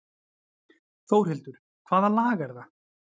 Þórhildur: Hvaða lag er það?